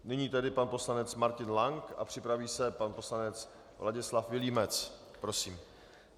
Nyní tedy pan poslanec Martin Lank a připraví se pan poslanec Ladislav Vilímec, prosím.